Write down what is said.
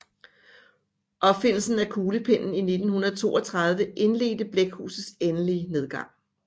Opfindelsen af kuglepennen i 1932 indledte blækhusets endelige nedgang